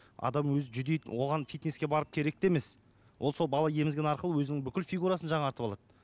адам өзі жүдейді оған фитнеске барып керек те емес ол сол бала емізген арқылы өзінің бүкіл фигурасын жаңартып алады